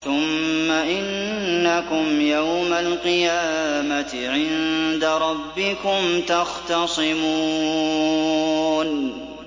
ثُمَّ إِنَّكُمْ يَوْمَ الْقِيَامَةِ عِندَ رَبِّكُمْ تَخْتَصِمُونَ